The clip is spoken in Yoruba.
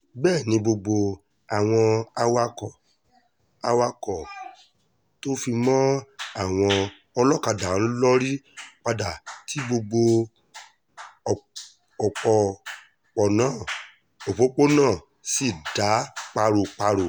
bẹ́ẹ̀ ni gbogbo àwọn awakọ̀ awakọ̀ tó fi mọ́ àwọn ọlọ́kadà ń lórí padà tí gbogbo òpópónà sì dá páro-páro